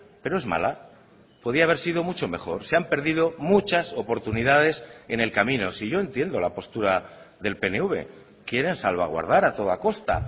pero es mala podía haber sido mucho mejor se han perdido muchas oportunidades en el camino si yo entiendo la postura del pnv quieren salvaguardar a toda costa